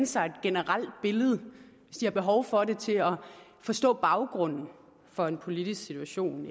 sig et generelt billede og hvis de har behov for det til at forstå baggrunden for en politisk situation